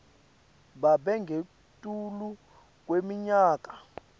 babe ngetulu kweminyaka